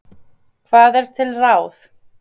Hvað er til ráð?